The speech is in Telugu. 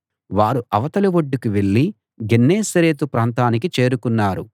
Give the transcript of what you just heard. వారు అవతలి ఒడ్డుకు వెళ్ళి గెన్నేసరెతు ప్రాంతానికి చేరుకున్నారు